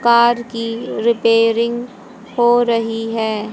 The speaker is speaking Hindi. कार की रिपेयरिंग हो रही है।